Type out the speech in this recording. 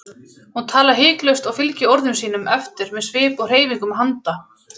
Hún talar hiklaust og fylgir orðum sínum eftir með svip og hreyfingum handa.